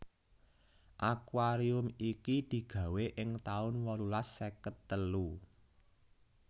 Akuarium iki digawé ing taun wolulas seket telu